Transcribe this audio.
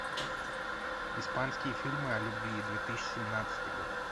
испанские фильмы о любви две тысячи семнадцатый год